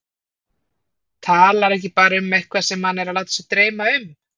Talar ekki bara um eitthvað sem hann er að láta sig dreyma um.